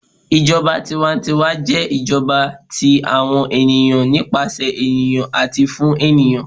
ìjọba tiwa-ń-tiwa jẹ ijọba ti àwọn ènìyàn, nípasẹ ènìyàn ati fun ènìyàn.